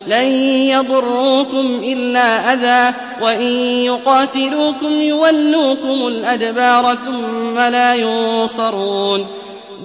لَن يَضُرُّوكُمْ إِلَّا أَذًى ۖ وَإِن يُقَاتِلُوكُمْ يُوَلُّوكُمُ الْأَدْبَارَ ثُمَّ لَا يُنصَرُونَ